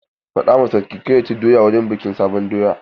Faɗa ma sarki kar ya ci doya wurin bikin sabon doya!